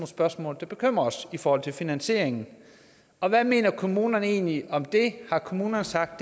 spørgsmål der bekymrer os i forhold til finansieringen og hvad mener kommunerne egentlig om det har kommunerne sagt